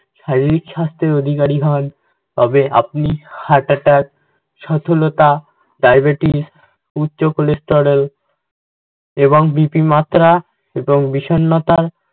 শারীরিক স্বাস্থ্যের অধিকারী হন তবে আপনি heart attack, সথলতা, diabetes, উচ্চ cholesterol এবং BP র মাত্রা এবং বিষন্নতা